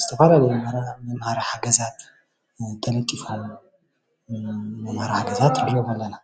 ዝተፈላለዩ መምሀሪ ሓገዛት ተለጢፉ መምሀሪ ሓገዛት ንሪኦም አለና።